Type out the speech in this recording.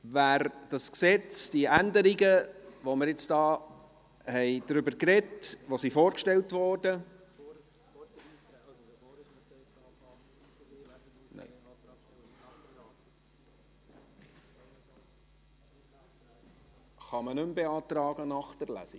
Wer dieses Gesetz, die Änderungen, über die wir hier gesprochen haben, die vorgestellt wurden, … Kann man diese nach der Lesung nicht mehr beantragen?